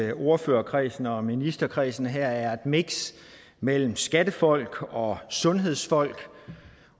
at ordførerkredsen og ministerkredsen her er et miks mellem skattefolk og sundhedsfolk